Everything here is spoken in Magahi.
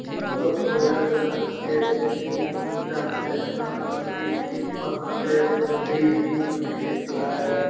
इ त भोले नाथ के श्री इंद्रदमनेश्वर मंदिर महादेव मंदिर लखीसराय है।